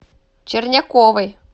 черняковой